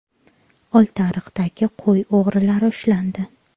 Oltiariqdagi qo‘y o‘g‘rilari ushlandi.